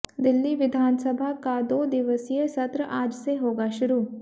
दिल्ली विधानसभा का दो दिवसीय सत्र आज से होगा शुरू